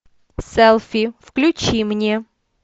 селфи включи мне